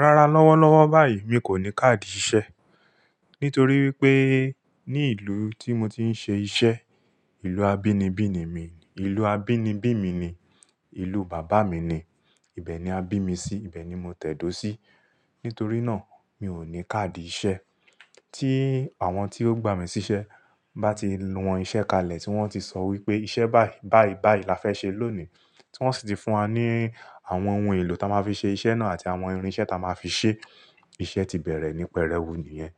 Rárá lọ́wọ́lọ́wọ́ báyìí mi kò ní káàdì iṣẹ́. Nítorí wípé ní ìlú tí mo ti ń ṣe iṣẹ́, ìlú abínibí mi ni, ìlú abínibí mi ni, ìlú bàbá mi ni, ibẹ̀ ni a bí mi sí, ibẹ̀ ni mo tẹ̀dó sí. Nítorí náà mi ò ní káàdì iṣẹ́. Tí àwọn tí ó gbà mí síṣẹ́ bá ti wọn iṣẹ́ kalẹ̀, tí wọ́n ti sọ wípé iṣẹ́ báì-báì-báì la fẹ́ ṣe lónìí. Tí wọ́n sì ti fún wa ní àwọn ohun èlò ta máa fi ṣe iṣẹ́ náà àti àwọn irinṣẹ́ ta máa fi ṣe. Iṣẹ́ ti bẹ̀rẹ̀ ní pẹrẹú nìyẹn.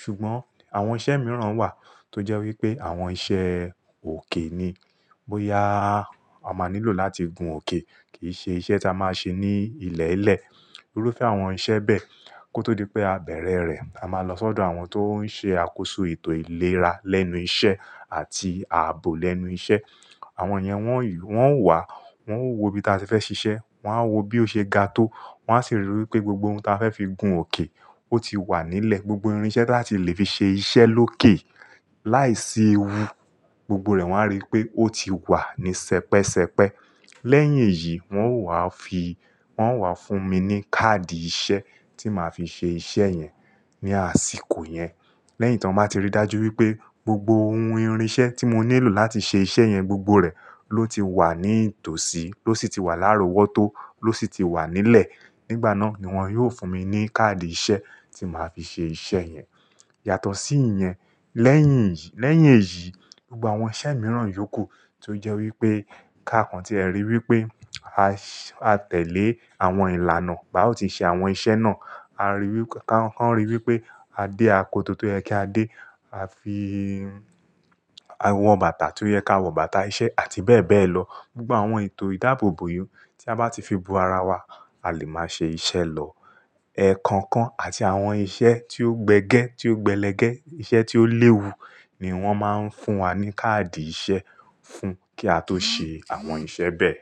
Ṣùgbọ́n àwọn iṣẹ́ mìíràn wà tó jẹ́ wípé àwọn iṣẹ́ òkè ni. Bóyá a máa nílò láti gun òkè kì í ṣe iṣẹ́ ta máa ṣe ní ilẹ̀ẹ́lẹ̀. Irúfẹ́ àwọn iṣẹ́ bẹ́ẹ̀ kó tó di pé a bẹ̀rẹ̀ rẹ̀. A máa lọ sọ́dọ̀ àwọn tó ń ṣe àkóso ètò ìlera lẹ́nu iṣẹ́ àti ààbò lẹ́nu iṣẹ́. Àwọn yẹn wọ́n yóò wá, wọ́n ó wo ìbí taa tí fẹ́ ṣiṣẹ́, wọ́n á wo bí ó ṣe ga tó, wọ́n á sì ríi wípé gbogbo ohun ta a fẹ́ fi gun òkè ó ti wà nílẹ̀, gbogbo irinṣẹ́ tí a lè fi ṣe iṣẹ́ lókè láìsí ewu gbogbo rẹ̀ wọ́n á rí pé ó ti wà ní sẹpẹsẹpẹ. Lẹ́yìn èyí wọ́n ó wá fi-- wọ́n ó wá fún mi ní káàdì iṣẹ́ tí màá fi ṣe iṣẹ́ yẹn ní àsìkò yẹn. Lẹ́yìn tí wọ́n bá ti rí dájú wípé gbogbo ohun irinṣẹ́ tí mo nílò láti ṣe iṣẹ́ yẹn gbogbo rẹ̀ ló ti wà ní tòsí, ló sì ti wà láró wọ́tọ́, ló sì ti wà nílẹ̀. Nígbà náà ni wọ́n yóò fún mi ní káàdì iṣẹ́ tí màá fi ṣe iṣẹ́ yẹn. Yàtọ̀ sí ìyẹn, lẹ́yìn ìyí, lẹ́yìn èyí, gbogbo àwọn iṣẹ́ mìíràn yókù tó jẹ́ wípé káàkàn tí ẹ rí wípé a tẹ̀lé àwọn ìlànà bá ò tí ṣe àwọn iṣẹ́ náà. A ríi wípé káàkán ríi wípé a dé akoto tó yẹ kí a dé, a fi, àwọn bàtà tó yẹ kí á wọ bàtà iṣẹ́ àti bẹ́ẹ̀ bẹ́ẹ̀ lọ. Gbogbo àwọn ètò ìdáàbòbò yí tí a bá ti fi bo ara wa a lè máa ṣe iṣẹ́ lọ. Ẹ̀kọ̀ọ̀kàn àti àwọn iṣẹ́ tí ó gbẹ gẹ́, tí ó gbẹlẹ gẹ́, iṣẹ́ tí ó léwu ni wọ́n máa ń fún wa ní káàdì iṣẹ́ fún kí á tó ṣe àwọn iṣẹ́ bẹ́ẹ̀.